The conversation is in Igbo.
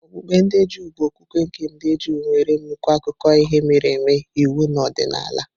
Okpukpe ndị Juu bụ okwukwe nke ndị Juu, nwere nnukwu akụkọ ihe mere eme, iwu na ọdịnala.